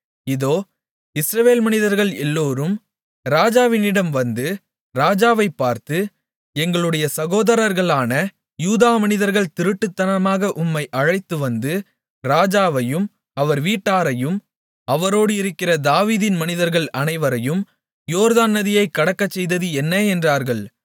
இதோ இஸ்ரவேல் மனிதர்கள் எல்லோரும் ராஜாவினிடம் வந்து ராஜாவைப் பார்த்து எங்களுடைய சகோதரர்களான யூதா மனிதர்கள் திருட்டுத்தனமாக உம்மை அழைத்துவந்து ராஜாவையும் அவர் வீட்டாரையும் அவரோடு இருக்கிற தாவீதின் மனிதர்கள் அனைவரையும் யோர்தான் நதியைக் கடக்கச்செய்தது என்ன என்றார்கள்